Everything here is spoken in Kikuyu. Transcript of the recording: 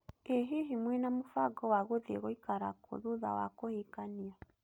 Ĩ hihi mũĩna mũbango wa gũthiĩ gũikara kũũ thutha wa kũhikania?